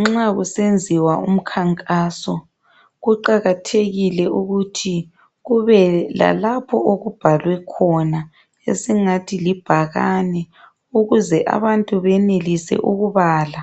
Nxa kusenziwa umkhankaso, kuqakathekile ukuthi kube lalapho okubhalwe khona esingathi libhakane ukuze abantu benelise ukubala